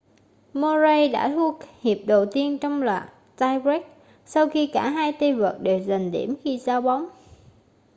murray đã thua hiệp đầu tiên trong loạt tie-break sau khi cả hai tay vợt đều giành điểm khi giao bóng